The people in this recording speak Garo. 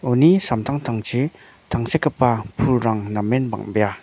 uni samtangtangchi tangsekgipa pulrang namen bang·bea.